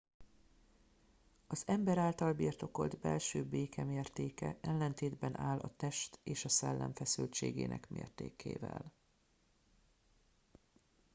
az ember által birtokolt belső béke mértéke ellentétben áll a test és a szellem feszültségének mértékével